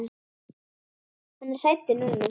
Hann var hræddur núna.